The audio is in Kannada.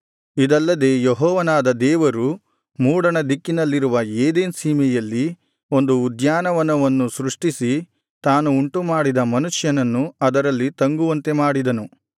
ಇದಲ್ಲದೆ ಯೆಹೋವನಾದ ದೇವರು ಮೂಡಣ ದಿಕ್ಕಿನಲ್ಲಿರುವ ಏದೆನ್ ಸೀಮೆಯಲ್ಲಿ ಒಂದು ಉದ್ಯಾನವನವನ್ನು ಸೃಷ್ಟಿಸಿ ತಾನು ಉಂಟುಮಾಡಿದ ಮನುಷ್ಯನನ್ನು ಅದರಲ್ಲಿ ತಂಗುವಂತೆ ಮಾಡಿದನು